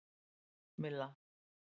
Milla